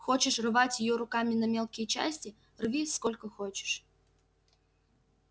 хочешь рвать её руками на мелкие части рви сколько хочешь